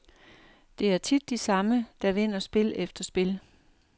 Det er tit de samme, der vinder spil efter spil.